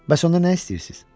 Bəs ondan nə istəyirsiz?